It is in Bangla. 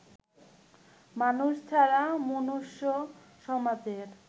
মানুষ ছাড়া মনুষ্য সমাজের